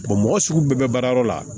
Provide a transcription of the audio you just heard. mɔgɔ sugu bɛɛ bɛ baarayɔrɔ la